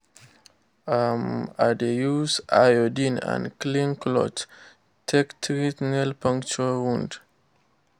um i dey use iodine and clean cloth take treat nail puncture wound.